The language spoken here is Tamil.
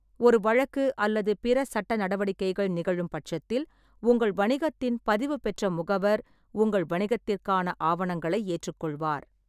ஒரு வழக்கு அல்லது பிற சட்ட நடவடிக்கைகள் நிகழும் பட்சத்தில், உங்கள் வணிகத்தின் பதிவுபெற்ற முகவர் உங்கள் வணிகத்திற்கான ஆவணங்களை ஏற்றுக்கொள்வார்.